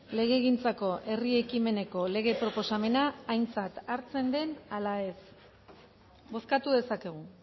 legegintzako herri ekimeneko lege proposamena aintzat hartzen den ala ez bozkatu dezakegu